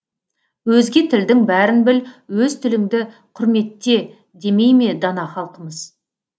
өзге тілдің бәрін біл өз тіліңді құрметте демейме дана халқымыз